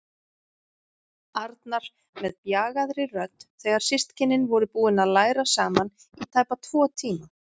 Arnar með bjagaðri rödd þegar systkinin voru búin að læra saman í tæpa tvo tíma.